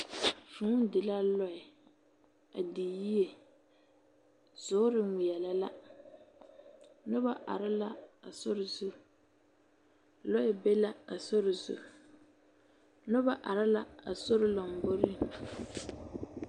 Vũũ di la lɛ, a di yie zoor eŋmeɛlɛ la. Noba are la a sori zu. Lɔɛ be la a sori zu. Lɔba are la asori lamboriŋ.